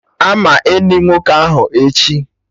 Ama eni nwoke ahụ echi!